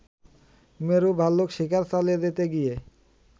মেরু ভাল্লুক শিকার চালিয়ে যেতে গিয়ে